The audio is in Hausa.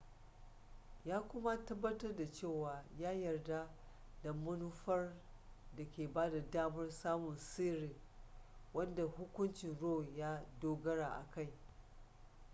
ya kuma tabbatar da cewa ya yarda da manufar da ke bada damar samun sirri wadda hukuncin roe ya dogara a kai